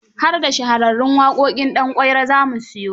Har da Shahararrun waƙoƙin Danƙwairo za mu siyo.